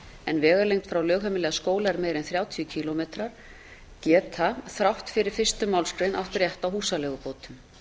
en vegalengd frá lögheimili að skóla er meiri en þrjátíu kílómetrar geta þrátt fyrir fyrstu málsgrein átt rétt á húsaleigubótum